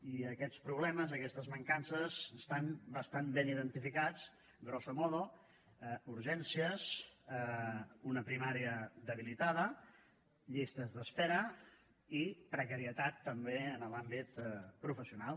i aquests problemes aquestes mancances estan bastant ben identificats grosso modo urgències una primària debilitada llistes d’espera i precarietat també en l’àmbit professional